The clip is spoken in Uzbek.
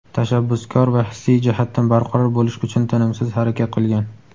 tashabbuskor va hissiy jihatdan barqaror bo‘lish uchun tinimsiz harakat qilgan.